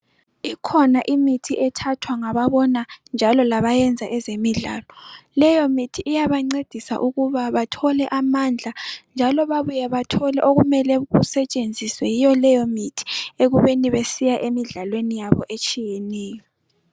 Ikhona imithi ethathwa ngababona njalo labenza ezemidlalo. Leyo mithi iyabancedisa ukuba bathole amandla njalo babuye bathole okusetshenziswe yiyo leyo mithi ekubeni besiya ekudlalweni yabo etshiyeneyo.